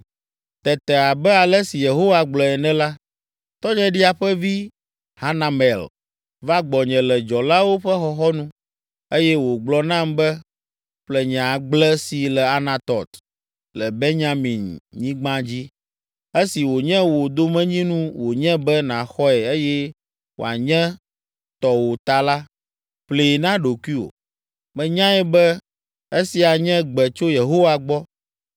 “Tete abe ale si Yehowa gblɔe ene la, tɔnyeɖia ƒe vi, Hanamel va gbɔnye le dzɔlawo ƒe xɔxɔnu, eye wògblɔ nam be, ‘Ƒle nye agble si le Anatɔt le Benyaminyigba dzi. Esi wònye wò domenyinu wònye be nàxɔe eye wòanye tɔwò ta la, ƒlee na ɖokuiwò.’ “Menyae be esia nye gbe tso Yehowa gbɔ,